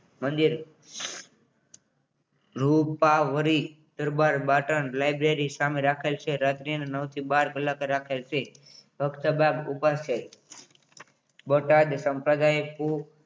મંદિર રૂપાવળી દરબાર બાટન library સામે રાખેલ છે રાત્રી નવ થી બાર કલાક રાખેલ છે વક્ત બાર ઉપાસય બોટાદ સંપ્રદાયક કુ